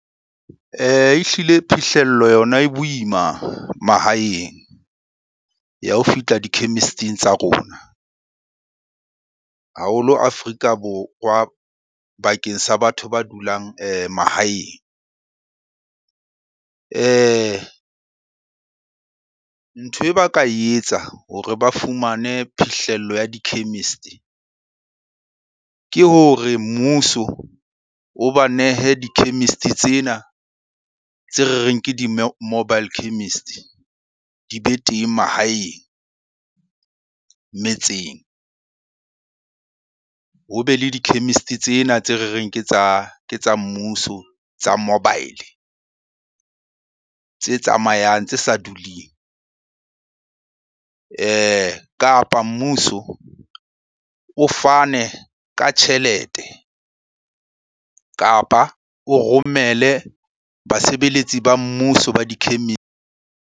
Ehlile phihlello yona e boima mahaeng ya ho fihla di-chemist-ing tsa rona, haholo Afrika Borwa bakeng sa batho ba dulang mahaeng. Ntho e ba ka etsa hore ba fumane phihlello ya di-chemist-e ke hore mmuso o ba nehe di-chemist-e tsena tse re reng ke di mobile chemist, di be teng mahaeng metseng. Ho be le di-chemist tsena tse re reng ke tsa ke tsa mmuso tsa mobile, tse tsamayang tse sa duleng. Kapa mmuso o fane ka tjhelete kapa o romele basebeletsi ba mmuso ba .